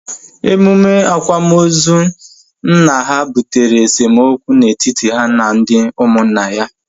Emume akwamozu nna ha butere esemokwu na etiti ha na ndị ụmụnna